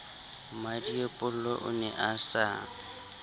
mmmadiepollo o ne a sa